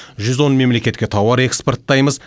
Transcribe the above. жүз он мемлекетке тауар экспорттаймыз